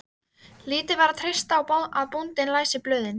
Lítið var að treysta á að bóndinn læsi blöð.